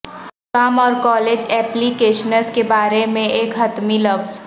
کام اور college applications کے بارے میں ایک حتمی لفظ